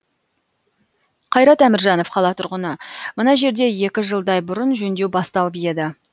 қайрат әміржанов қала тұрғыны мына жерде екі жылдай бұрын жөндеу басталып еді